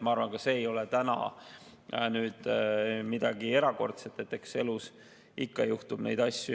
Ma arvan, et see ei ole midagi erakordset, eks elus ikka juhtub neid asju.